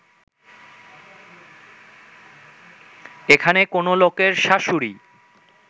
এখানে কোনো লোকের শাশুড়ী